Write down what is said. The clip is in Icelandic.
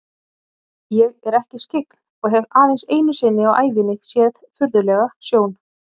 Ég er ekki skyggn og hef aðeins einu sinni á ævinni séð furðulega sjón.